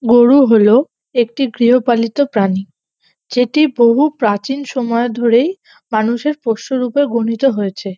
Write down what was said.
গরু হল একটি গৃহপালিত প্রাণী যেটি বহু প্রাচীন সময় ধরেই মানুষের পোষ্যরুপে গনিত হয়েছে।